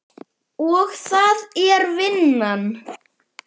Og það er vinnan.